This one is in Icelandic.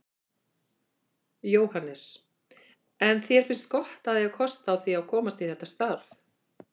Jóhannes: En þér finnst gott að eiga kost á því að komast í þetta starf?